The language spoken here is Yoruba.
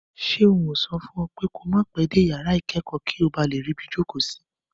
Ṣé n ò sọ fún ọ pé ko má pẹ́ dé yàrá ìkẹ́kọ̀ọ́ kí o ba lè ríbi jókòó sí?